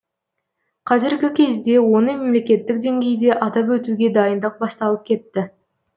қазіргі кезде оны мемлекеттік деңгейде атап өтуге дайындық басталып кетті